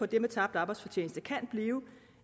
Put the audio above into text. det med tabt arbejdsfortjeneste kan blive